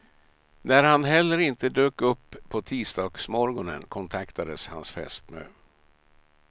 När han heller inte dök upp på tisdagsmorgonen kontaktades hans fästmö.